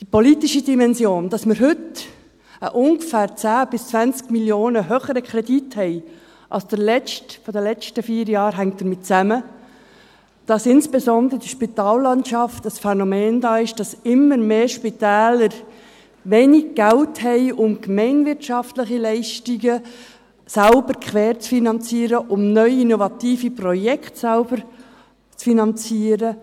Die politische Dimension: Dass wir heute einen ungefähr 10–20 Mio. Franken höheren Kredit haben als der letzte vor vier Jahren, hängt damit zusammen, dass insbesondere in der Spitallandschaft das Phänomen vorliegt, dass immer mehr Spitäler wenig Geld haben, um gemeinwirtschaftliche Leistungen selbst querzufinanzieren und um neue innovative Projekte zu finanzieren.